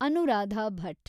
Anuradha Bhat